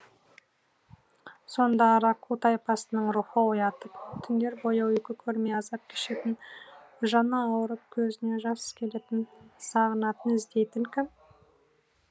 сонда араку тайпасының рухы оятып түндер бойы ұйқы көрмей азап кешетін жаны ауырып көзіне жас келетін сағынатын іздейтін кім